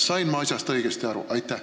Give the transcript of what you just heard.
Sain ma asjast õigesti aru?